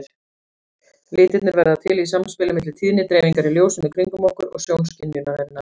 Litirnir verða til í samspili milli tíðnidreifingar í ljósinu kringum okkur og sjónskynjunarinnar.